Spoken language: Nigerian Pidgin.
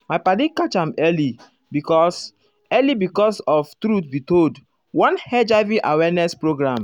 my padi catch am early because early because of truth be told one hiv awareness program.